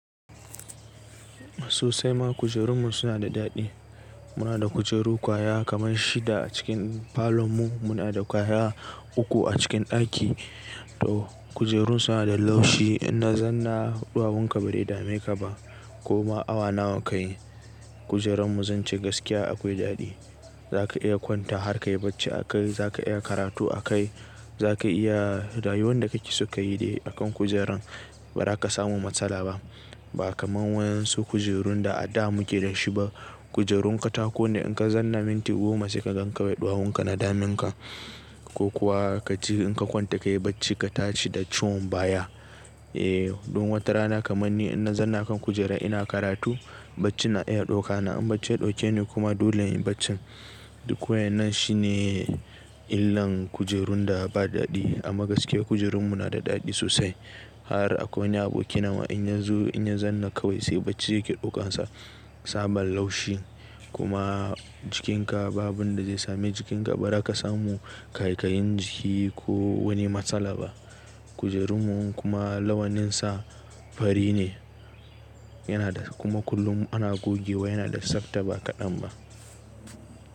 Sosai ma kujerunmu suna da daɗi. Muna da kujeru kwaya kaman shida a cikin falon mu. Muna da kwaya uku a cikin ɗaki. To kujerun suna da laushi. In na zauna ɗuwowun ka bai dame ka ba ko ma awa nawa kayi. Kujerunmu zan ce gaskiya akwai daɗi. Za ka iya kwanta har ka yi bacci akai, za ka iya karatu a kai, za ka iya rayuwan da kake so ka yi dai akan kujeran ba za ka samu matsala ba. Ba kamar waɗansu kujerun da a da muke da shi ba. Kujerun katako ne in ka zanna minti goma sai ka gan wai ɗuwawun ka na daminka ko kuwa ka ci in ka kwanta ka yi bacci ka tashi da ciwon baya. Eh dun wata rana kaman ni in na zauna kan kujera ina karatu bacci na iya ɗauka. Na an bacci ya ɗauke ni kuma dole in yi bacci. Duk wannan shine illan kujerun da ba daɗi. Amma gaskiya kujerunmu na da daɗi sosai. Har akwai wani aboki na wa in na zo in na zauna kawai sai bacci yake ɗaukansa. Sabon laushi kuma jikinka babu abin da zai same jikinka ba za ka samu ƙaikayin jiki ko wani matsala ba. Kujerunmu kuma lawanninsa fari ne. Yana da kuma kullum ana gogewa yana da tsafta ba kaɗan ba.